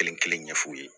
Kelen kelen ɲɛf'u ye